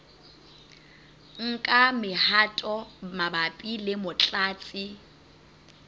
nka mehato mabapi le motlatsi